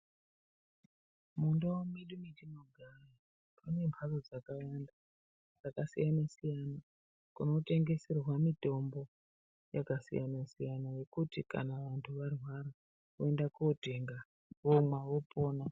Mundau mwedu mwatinogara umwo mune mhatso dzakawanda dzakasiyana siyana kunotengeserwa mitombo yakasiyana-siyana yekuti kana vanhu varwara voende kootenga vomwa opona.